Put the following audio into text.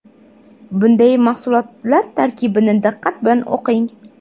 Bunday mahsulotlar tarkibini diqqat bilan o‘qing.